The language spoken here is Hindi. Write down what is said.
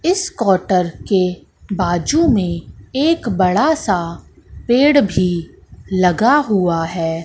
इस क्वार्टर के बाजू में एक बड़ा सा पेड़ भी लगा हुआ है।